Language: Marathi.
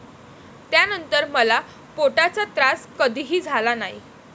त्या नंतर मला पोटाचा त्रास कधीही झाला नाही.